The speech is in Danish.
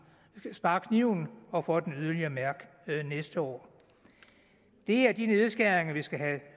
sparekniven og får den yderligere at mærke næste år det er de nedskæringer vi skal have